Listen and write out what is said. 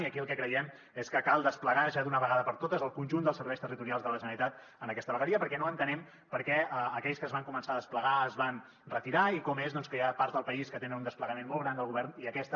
i aquí el que creiem és que cal desplegar ja d’una vegada per totes el conjunt dels serveis territorials de la generalitat en aquesta vegueria perquè no entenem per què aquells que es van començar a desplegar es van retirar i com és que hi ha parts del país que tenen un desplegament molt gran del govern i aquesta